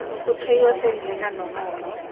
go tshwaiwa sentle ka nomoro